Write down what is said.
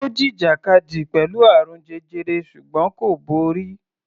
Ó jìjàkadì pẹ̀lú àrùn jẹjẹrẹ ṣùgbọ́n kò borí.